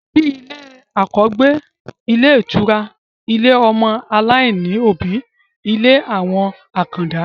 Bíi ilé àkọ́gbé, ilé ìtura, ilé ọmọ aláìní òbí, ilé àwọn àkàndá